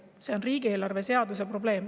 See on riigieelarve seaduse probleem.